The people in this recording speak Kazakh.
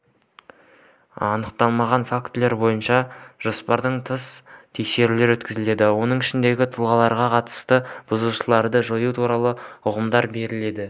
анықталған фактілер бойынша жоспардан тыс тексерулер өткізілді оның ішінде тұлғаларға қатысты бұзушылықтарды жою туралы ұйғарымдар берілді